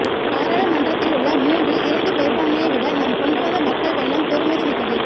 பாராளுமன்றத்திலுள்ள மூன்றில் இரண்டு பெரும்பான்மையை விட நாம் கொண்டுவந்த மக்கள் வெள்ளம் பெறுமதிமிக்கது